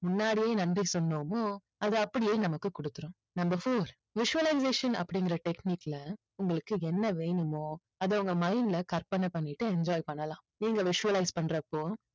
முன்னாடியே நன்றி சொன்னோமோ அது அப்படியே நமக்கு கொடுத்திடும். number four visualization அப்படிங்கிற technique ல உங்களுக்கு என்ன வேணுமோ அதை உங்க mind ல கற்பனை பண்ணிட்டு enjoy பண்ணலாம். நீங்க visualize பண்றப்போ